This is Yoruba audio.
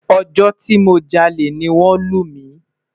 Ojo ti mo jale ni won lu mi